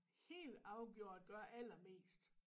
Helt afgjort gør allermest